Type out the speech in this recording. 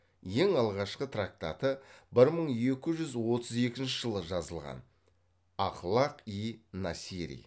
ең алғашқы трактаты бір мың екі жүз отыз екінші жылы жазылған ахлақ и насири